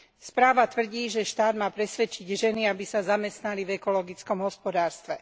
Správa tvrdí, že štát ma presvedčiť ženy, aby sa zamestnali v ekologickom hospodárstve.